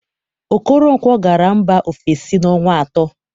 Okoronkwọ gara mba ofesi na ọnwa atọ.